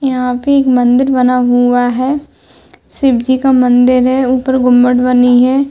यहाँ पे एक मंदिर बना हुआ है। शिव जी का मंदिर है। ऊपर गुंबड बनी है।